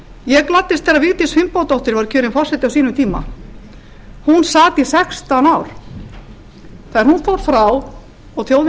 ég gladdist þegar vigdís finnbogadóttir var kjörinn forseti á sínum tíma hún sat í sextán ár þegar hún fór frá og þjóðin